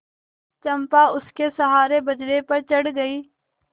चंपा उसके सहारे बजरे पर चढ़ गई